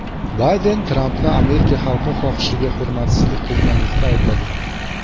Bayden Trampni Amerika xalqi xohishiga hurmatsizlik qilganlikda aybladi.